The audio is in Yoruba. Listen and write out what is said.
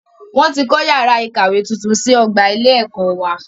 Wọn tí kọ́ yàrá ìkàwé tuntun sí ọgbà ilé ẹ̀kọ́ wá.